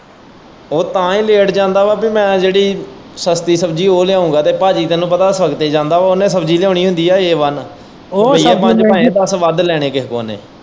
ਉਹ ਤਾਂਹੀ ਲੇਟ ਜਾਂਦਾ ਵਾਂ ਪੀ ਮੈਂ ਜਿਹੜੀ ਸਸਤੀ ਸ਼ਬਜੀ ਉਹ ਲਿਆਊਗਾ ਤੇ ਭਾਜੀ ਤੈਨੂੰ ਤਕੜੇ ਜਾਂਦਾ ਏ ਉਹਨੂੰ ਸ਼ਬਜੀ ਲਿਆਉਣੀ ਹੁੰਦੀ ਏ, ਏ ਬਾੱਨ ਰੁਪਇਆ ਪੰਜ-ਦੱਸ ਵੱਧ ਲੈਣੇ ਕਿਸੇ ਕੋਲ਼ ਇਹਨੇ।